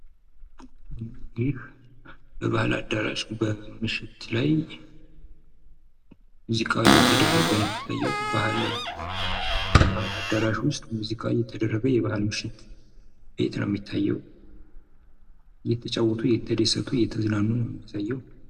ይህ በባህል አዳራሽ ውስጥ ምሽት ላይ ሙዚቃ እየተደረገ የሚያሳይ ነው። እየተጫወቱ እየተደሰቱ የሚያሳይ ነው።